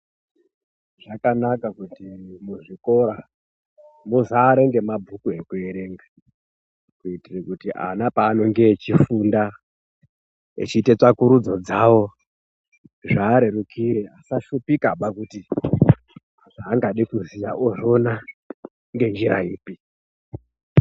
Zvakanaka kuti muzvikora muzare ngemabhuku ekuerenga kuitire kuti ana paanenge echifunda echiite tsvagurudzo dzawo zviareruke asashupikeba kuti zvaangade kuziya ozviona ngenjira ipi.